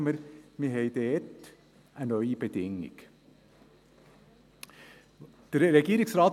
Jetzt merken wir, dass wir dort eine neue Bedingung haben.